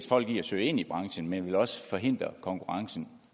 folk i at søge ind i branchen men også vil forhindre konkurrencen